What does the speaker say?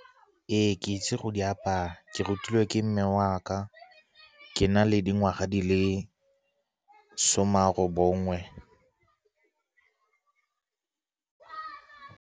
Ee, ke itse go di apaya, ke rutilwe ke mme wa ka ke na le dingwaga di le some a robongwe.